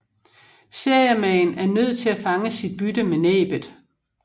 Seriemaen er nødt til at fange sit bytte med næbbet